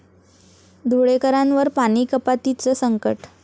धुळेकरांवर पाणी कपातीचं संकट